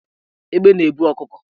Egbe na-ebu ọkụkọ